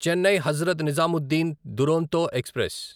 Chennai Hazrat Nizamuddin Duronto express